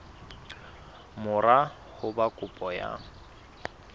mora ho ba kopo ya